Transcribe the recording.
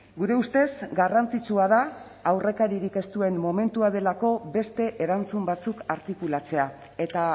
gure ustez garrantzitsua da aurrekaririk ez duen momentua delako beste erantzun batzuk artikulatzea eta